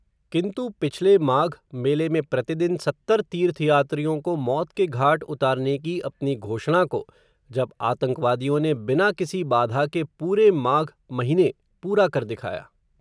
किन्तु पिछले माघ, मेले में प्रतिदिन, सत्तर तीर्थयात्रियों को, मौत के घाट उतारने की अपनी घोषणा को, जब आतंकवादियों ने, बिना किसी बाधा के, पूरे माघ महीने पूरा कर दिखाया